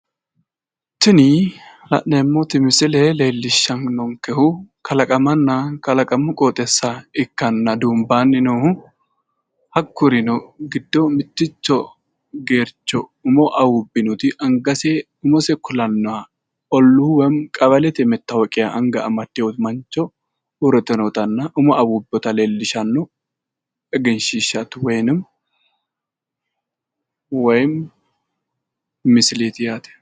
Tinu la'neemmoti misile leellishshannonkehu kalaqamanna kalaqamu qooxeessa ikkanna duumbaanna noohu hakkuri giddo mitticho geercho umo awuubbinotti angase umose kulannoha olluu woyi qawalete matawoqia anga amaddinoti uuritinotanan umo awuubbinota leellishanno woyinim woyim misileeti yaate.